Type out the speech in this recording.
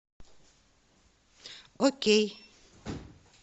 окей